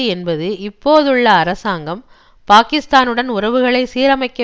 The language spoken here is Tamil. என்பது இப்பொழுதுள்ள அரசாங்கம் பாகிஸ்தானுடன் உறவுகளை சீரமைக்க